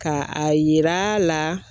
Ka a yira a la